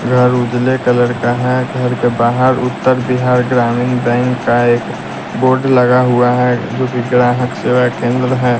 घर उजले कलर का है घर के बाहर उत्तर बिहार ग्रामीण बैंक का एक बोर्ड लगा हुआ है जोकि ग्राहक सेवा केंद्र है।